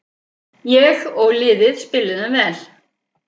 Ég og liðið spiluðum vel.